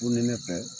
Funtenin fɛ